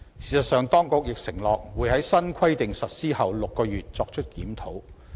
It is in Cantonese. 事實上，當局亦承諾會在新規定實施後6個月作出檢討。